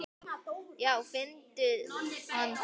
Já finndu hann þá!